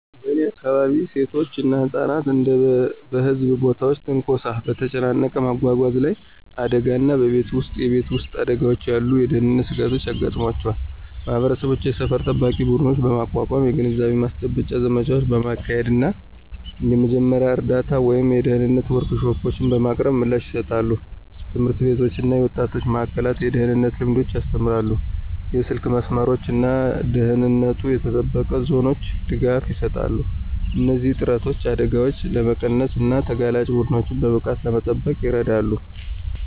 በእኔ አካባቢ፣ ሴቶች እና ህጻናት እንደ በህዝብ ቦታዎች ትንኮሳ፣ በተጨናነቀ መጓጓዣ ላይ አደጋዎች እና በቤት ውስጥ የቤት ውስጥ አደጋዎች ያሉ የደህንነት ስጋቶች ያጋጥሟቸዋል። ማህበረሰቦች የሰፈር ጠባቂ ቡድኖችን በማቋቋም፣ የግንዛቤ ማስጨበጫ ዘመቻዎችን በማካሄድ እና የመጀመሪያ እርዳታ ወይም የደህንነት ወርክሾፖችን በማቅረብ ምላሽ ይሰጣሉ። ትምህርት ቤቶች እና የወጣቶች ማእከላት የደህንነት ልምዶችን ያስተምራሉ, የስልክ መስመሮች እና ደህንነቱ የተጠበቀ ዞኖች ድጋፍ ይሰጣሉ. እነዚህ ጥረቶች አደጋዎችን ለመቀነስ እና ተጋላጭ ቡድኖችን በብቃት ለመጠበቅ ይረዳሉ።